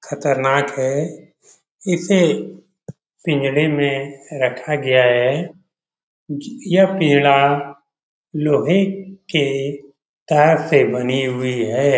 खतरनाक है इसे पिंजड़े में रखा गया है यह पिंजड़ा लोहे के तार से बनी हुई है।